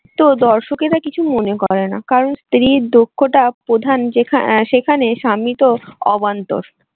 তো দর্শকেরা কিছু মনে করে না। কারণ স্ত্রীরর দক্ষতা প্রধান সেখানে স্বামী তো অবান্তর